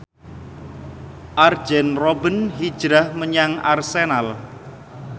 Arjen Robben hijrah menyang Arsenal